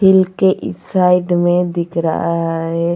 हिल के इस साइड में दिख रहा है.